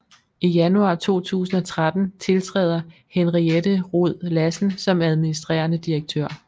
I januar 2013 tiltræder Henriette Rhod Lassen som administrerende direktør